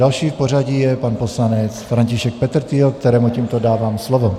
Další v pořadí je pan poslanec František Petrtýl, kterému tímto dávám slovo.